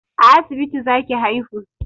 A asibiti za ki haihu!